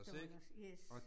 Dollars, yes